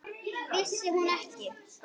Vissi hún ekki?